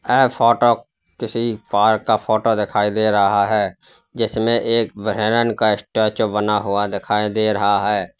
एह फोटो किसी पार्क का फोटो दिखाई दे रहा है जिसमें एक हिरण का स्टेचू बना हुआ दिखाई दे रहा है।